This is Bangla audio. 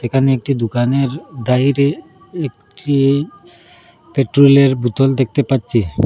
এখানে একটি দোকানের বাহিরে একটি পেট্রোলে র বুতল দেখতে পাচ্ছি।